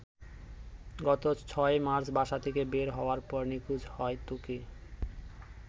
গত ৬ মার্চ বাসা থেকে বের হওয়ার পর নিখোঁজ হয় ত্বকি।